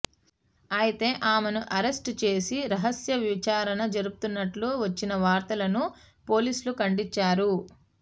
ఐతే ఆమెను అరెస్టు చేసి రహస్య విచారణ జరుపుతున్నట్లు వచ్చిన వార్తలను పోలీసులు ఖండించారు